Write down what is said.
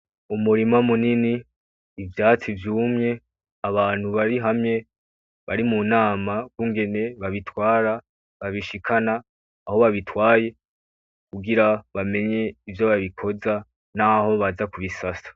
Umurima munini ivyatsi vyumye abantu bari hamwe bari mu nama y'ukungene babitwara babishikana aho babitwaye kugira bamenye ivyo babikoza naho baza kubisasa.